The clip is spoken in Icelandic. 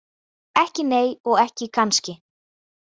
Ekki nei og ekki kannski.